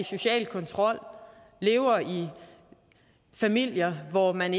social kontrol og lever i familier hvor man